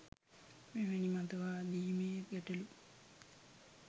මෙවැනි මතවාදීමය ගැටලු